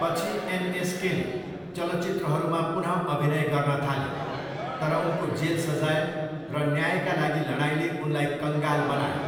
पछि, एनएसकेले चलचित्रहरूमा पुनः अभिनय गर्न थाले, तर उनको जेल सजाय र न्यायका लागि लडाइँले उनलाई कङ्गाल बनायो।